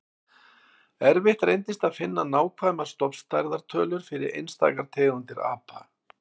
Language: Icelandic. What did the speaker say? Erfitt reyndist að finna nákvæmar stofnstærðar tölur fyrir einstaka tegundir apa.